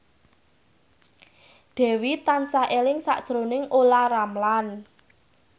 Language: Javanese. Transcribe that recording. Dewi tansah eling sakjroning Olla Ramlan